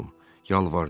Yalvardım.